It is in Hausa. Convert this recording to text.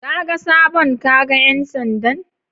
Kaga sabon kaga ƴan sandan?